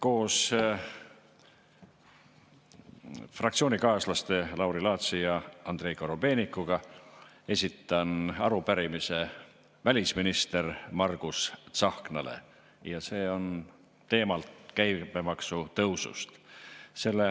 Koos fraktsioonikaaslaste Lauri Laatsi ja Andrei Korobeinikuga esitan arupärimise välisminister Margus Tsahknale ja selle teema on käibemaksu tõus.